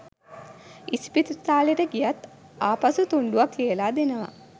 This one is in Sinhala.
ඉස්පිරිතාලෙට ගියත් ආපසු තුන්ඩුවක් ලියලා දෙනවා